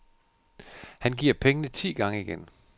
Han giver pengene ti gange igen.